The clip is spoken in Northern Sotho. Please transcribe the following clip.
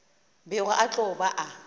bego a tlo ba a